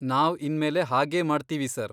ನಾವ್ ಇನ್ಮೇಲೆ ಹಾಗೇ ಮಾಡ್ತೀವಿ ಸರ್.